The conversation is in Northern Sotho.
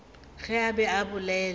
ge a be a bolela